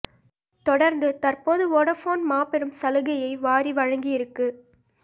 தொடர்ந்து தற்போது வோடபோன் மாபெரும் சலுகையை வாரி வழங்கி இருக்கு